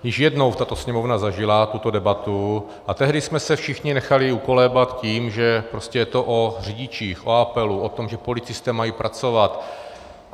Již jednou tato Sněmovna zažila tuto debatu a tehdy jsme se všichni nechali ukolébat tím, že prostě je to o řidičích, o apelu, o tom, že policisté mají pracovat.